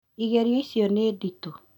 Ĩgeranio icio nĩ nditũ